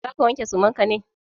Za ka wanke suman ka ne?